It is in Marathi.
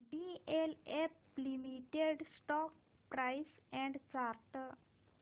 DLF limited stock price and chart